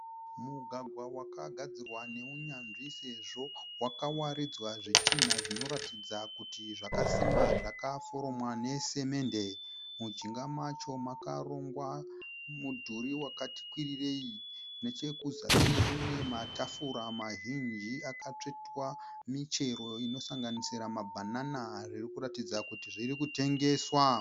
Mugwagwa wakagadzirwa neunyanzvi sezvo wakawaridzwa zvitinha zvinoratidza kuti zvakasimba zvakaforomwa nesimende. Mujinga macho makarongwa mudhuri wakati kwirirei. Nechekuzasi kune matafura mazhinji akatsvetwa michero inosanganisira mabhanana zviri kuratidzira kuti zviri kutengeswa.